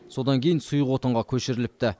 содан кейін сұйық отынға көшіріліпті